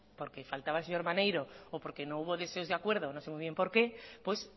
porque faltaba el señor maneiro o porque no hubo acuerdo no sé muy bien por qué pues